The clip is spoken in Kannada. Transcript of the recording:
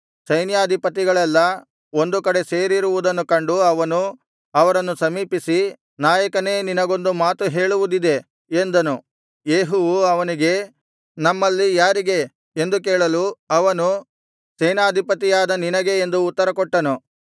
ಸೈನ್ಯಾಧಿಪತಿಗಳೆಲ್ಲಾ ಒಂದು ಕಡೆ ಸೇರಿರುವುದನ್ನು ಕಂಡು ಅವನು ಅವರನ್ನು ಸಮೀಪಿಸಿ ನಾಯಕನೇ ನಿನಗೊಂದು ಮಾತು ಹೇಳುವುದಿದೆ ಎಂದನು ಯೇಹುವು ಅವನಿಗೆ ನಮ್ಮಲ್ಲಿ ಯಾರಿಗೆ ಎಂದು ಕೇಳಲು ಅವನು ಸೇನಾಧಿಪತಿಯಾದ ನಿನಗೆ ಎಂದು ಉತ್ತರಕೊಟ್ಟನು